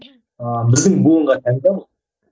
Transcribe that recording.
ыыы біздің буынға тән де бұл